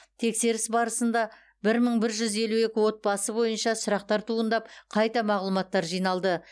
тексеріс барысында бір мың бір жүз елу екі отбасы бойынша сұрақтар туындап қайта мағлұматтар жиналды